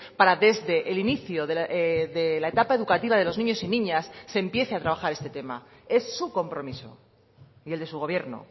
para desde el inicio de la etapa educativa de los niños y niñas se empiece a trabajar este tema es su compromiso y el de su gobierno